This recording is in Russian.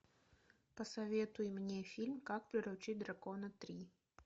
посоветуй мне фильм как приручить дракона три